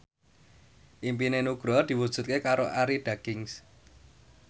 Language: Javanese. impine Nugroho diwujudke karo Arie Daginks